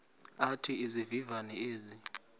athi izivivane ezi